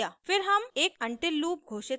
फिर हम एक until लूप घोषित करते हैं